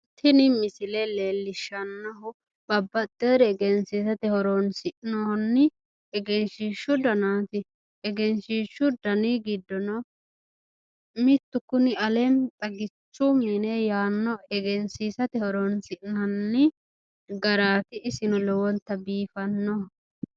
Tini misile leellishshannohu bababxxeyoore egensiisate horonsi'anoonni egenshiishshu danaati egenshiishshu dani giddono mittu kuni alemi xagichu mine yaanno egensiisate horonsi'nanni isinio lowonta biifanno.